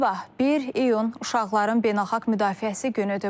Sabah 1 iyun uşaqların beynəlxalq müdafiəsi günüdür.